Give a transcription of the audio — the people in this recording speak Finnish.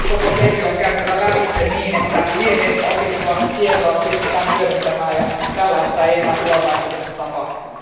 Koko ketju on käytävä lävitse, niin että virheistä opittua tietoa pystytään hyödyntämään ja tällaista ei enää tulevaisuudessa tapahdu.